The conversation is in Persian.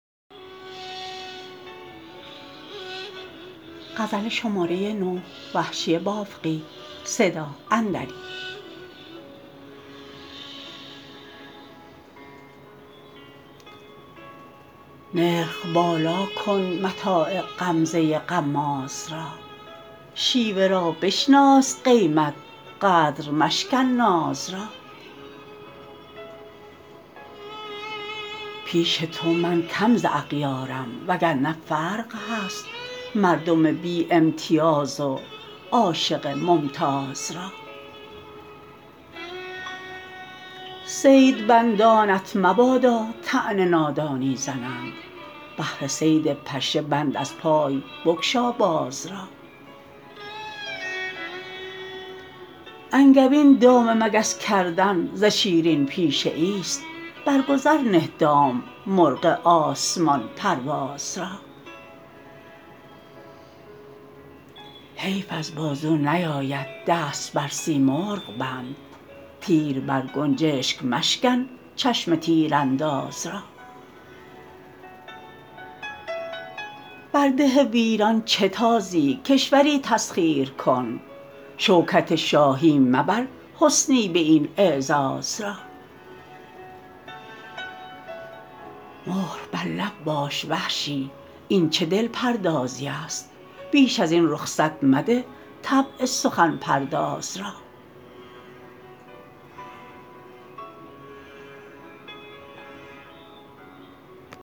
نرخ بالا کن متاع غمزه غماز را شیوه را بشناس قیمت قدر مشکن ناز را پیش تو من کم ز اغیارم و گرنه فرق هست مردم بی امتیاز و عاشق ممتاز را صید بندانت مبادا طعن نادانی زنند بهر صید پشه بند از پای بگشا باز را انگبین دام مگس کردن ز شیرین پیشه ایست برگذر نه دام مرغ آسمان پرواز را حیف از بازو نیاید دست بر سیمرغ بند تیر بر گنجشگ مشکن چشم تیر انداز را بر ده ویران چه تازی کشوری تسخیر کن شوکت شاهی مبر حسنی به این اعزاز را مهر بر لب باش وحشی این چه دل پردازی است بیش از این رخصت مده طبع سخن پرداز را